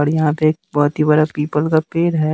और यह पे बहोत ही बड़ा पीपल का पेड़ है।